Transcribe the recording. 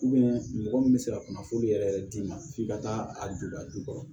mɔgɔ min bɛ se ka kunnafoni yɛrɛ yɛrɛ d'i ma f'i ka taa a don a jukɔrɔ